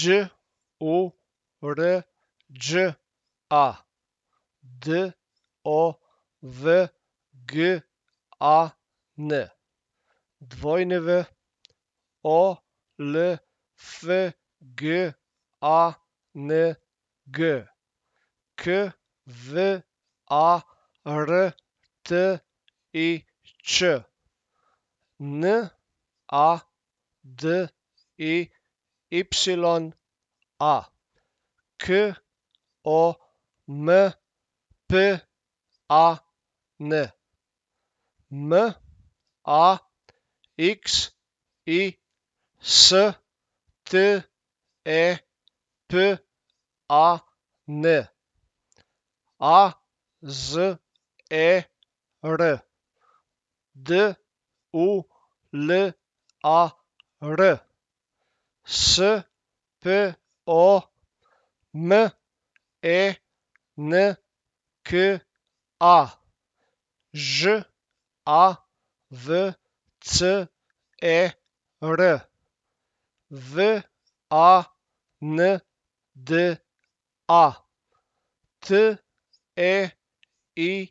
Đ O R Đ A, D O V G A N; W O L F G A N G, K V A R T I Č; N A D I Y A, K O M P A N; M A X I, S T E P A N; A Z E R, D U L A R; S P O M E N K A, Ž A V C E R; V A N D A, T E I